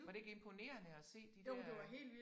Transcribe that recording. Var det ikke imponerende at se de dér øh